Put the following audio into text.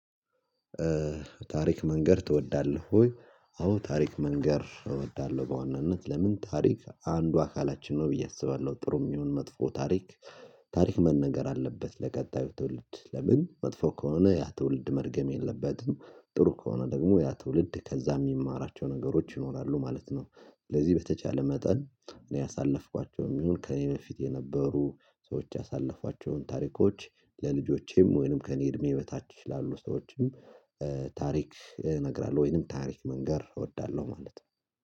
ታሪክ መንገድ ትወዳለህ ወይ? አዎ ታሪክ መንገድ እወዳለሁ በዋናነት ለምን ታሪክ አንዱ አካላችን ነው ብዬ አስባለሁ። ጥሩም ይሁን መጥፎ ታሪክ። ታሪክ መነገር አለበት ለቀጣዩ ትውልድ ለምን መጥፎ ከሆነ ያ ትውልድ መድገም የለበትም ጥሩ ከሆነ ደግሞ ያ ትውልድ ከዛ የሚማራቸው ነገሮች ይኖራሉ ማለት ነው። ለዚህ በተቻለ መጠን እኔ አሳለፍኳቸውም ይሁን ከእኔ በፊት የነበሩ ሰዎች ያሳለፏቸውን ታሪኮች። ለልጆቼም ወይንም ከእኔ እድሜ በታች ይችላሉ ሰዎችም እነግራለሁ። ወይንም ታሪክ መንገር እወዳለሁ ማለት ነው።